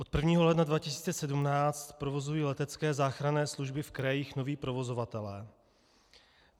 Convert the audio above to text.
Od 1. ledna 2017 provozují letecké záchranné služby v krajích noví provozovatelé.